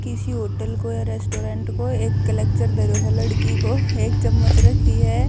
किसी होटल को या रेस्टोरेंट को एक क्लेकचर धरयो ह लड़की को एक चम्मच रखी ह ।